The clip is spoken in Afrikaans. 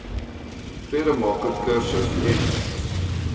vredemaker kursus n